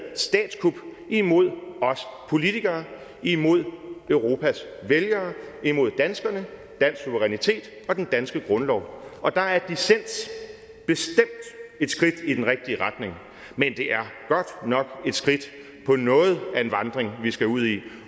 statskup imod os politikere imod europas vælgere imod danskerne dansk suverænitet og den danske grundlov og der er dissens bestemt et skridt i den rigtige retning men det er godt nok et skridt på noget af en vandring vi skal ud i